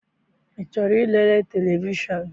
I chọrọ I lere televishọn?